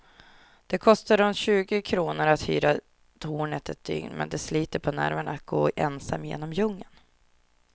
Det kostar runt tjugo kronor att hyra tornet ett dygn, men det sliter på nerverna att gå ensam genom djungeln.